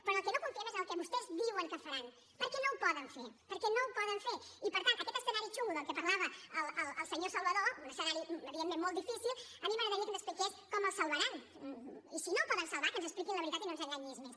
però en el que no confiem és en el que vostès diuen que faran perquè no ho poden fer perquè no ho poden fer i per tant aquest escenari xungo del que parlava el senyor salvadó un escenari evidentment molt difícil a mi m’agradaria que ens expliqués com el salvaran i si no el poden salvar que ens expliquin la veritat i no ens enganyis més